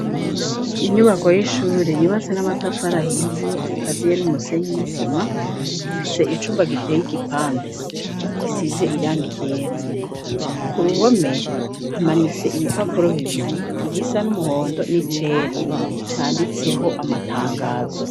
Inyubako y'ishuri yubatse n'amatafari ahiye ikaziye n'umusenyi n'isima ifise icumba giteye y'igipande gisize irangi ryera ku ruhome hamanitse ibipapuro bibiri igisa n'umuhondo n'icera canditseho amatangazo.